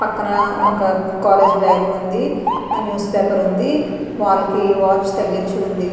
పక్కన ఒక college bag ఉండి అండ్ న్యూస్ పేపర్ ఉంది వాల్ వాచ్ తగిలించి ఉంది.